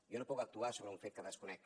jo no puc actuar sobre un fet que desconec